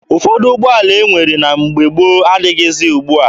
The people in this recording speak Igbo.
Ụfọdụ ụgbọala e nwere na mgbe gboo adịghịzi ugbua.